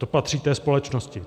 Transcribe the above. To patří té společnosti.